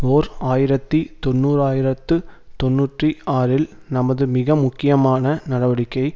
ஓர் ஆயிரத்தி தொன்னூராயிரத்து தொன்னூற்றி ஆறில் நமது மிக முக்கியமான நடவடிக்கை